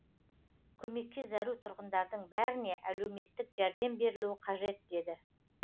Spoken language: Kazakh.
көмекке зәру тұрғындардың бәріне әлеуметтік жәрдем берілуі қажет деді